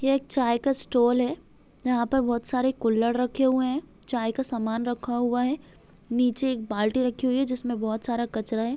ये एक चाय का स्टॉल है यहाँ पर बहुत सारे कुल्हर रखे हुए है चाय का समान रखा हुआ है नीचे एक बाल्टी रखी हुई है जिसमे बहुत सारा कचरा है।